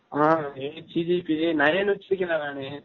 ஆ eight CGPA nine வச்சு இருகேன் டா நானு